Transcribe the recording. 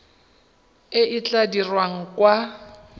e e tla dirwang kwa